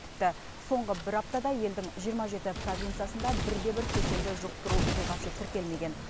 тіпті соңғы бір аптада елдің жиырма жеті провинциясында бірде бір кеселді жұқтыру оқиғасы тіркелмеген